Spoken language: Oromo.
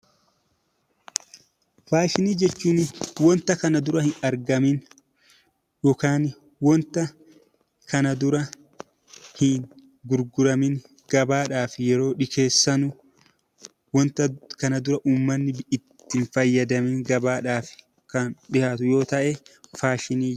Faashinii jechuun wanta kana dura hin argamin yookaan wanta kana dura hin gurguramin gabaadhaaf yeroo dhiyeessan, wanta kana dura ummanni itti hin fayyadamin gabaadhaaf kan dhiyaatu yoo ta'e faashinii....